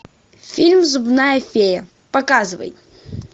фильм зубная фея показывай